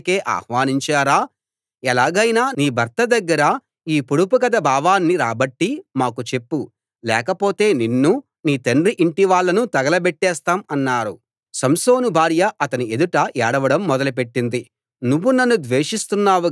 ఏడవ రోజున వాళ్ళు సంసోను భార్యతో మమ్మల్ని నిరుపేదలుగా చేయడానికే ఆహ్వానించారా ఎలాగైనా నీ భర్త దగ్గర ఈ పొడుపు కథ భావాన్ని రాబట్టి మాకు చెప్పు లేకపోతే నిన్నూ నీ తండ్రి ఇంటి వాళ్ళనూ తగలబెట్టేస్తాం అన్నారు